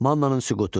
Mannanın süqutu.